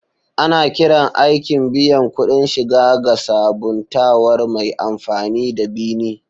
Ana kiran aikin biyan kuɗin shiga ga sabuntawar mai amfani da "bi ni".